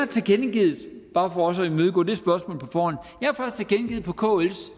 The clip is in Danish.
tilkendegivet bare for også at imødegå det spørgsmål på forhånd på kls